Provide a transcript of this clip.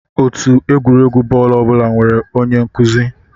Otù egwuregwu bọọlụ ọ bụla nwere onye nkụzi (nchịkwa).